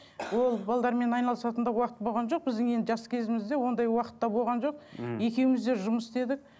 ол айналысатын да уақыт болған жоқ біздің енді жас кезімізде ондай уақыт та болған жоқ мхм екеуміз де жұмыс істедік